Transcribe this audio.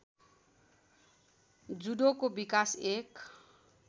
जुडोको विकास एक